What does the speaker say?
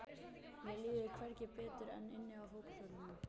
Mér líður hvergi betur en inni á fótboltavellinum.